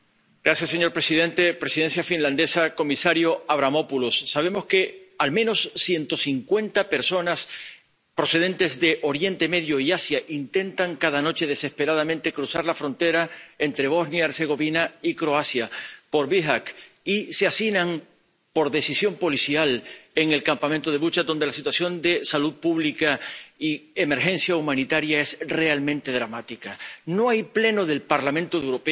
Señor presidente, presidencia finlandesa, comisario Avramopoulos, sabemos que al menos ciento cincuenta personas procedentes de Oriente Medio y Asia intentan cada noche desesperadamente cruzar la frontera entre Bosnia y Herzegovina y Croacia, por Bihać, y se hacinan por decisión policial en el campamento de Vucjak, donde la situación de salud pública y emergencia humanitaria es realmente dramática. No hay Pleno del Parlamento Europeo